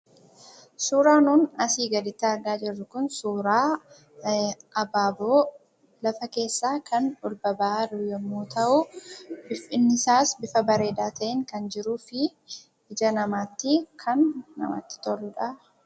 Suuraa nuun asii gaditti argaa jirru kun, suuraa abaaboo lafa keessaa kan ol baba'aa jiru yommuu ta'u, bifni isaas bifa bareedaa ta'een kan jiruu fi ija namaatti kan namatti toluudha.